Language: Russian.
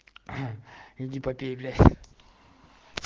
м иди попей блять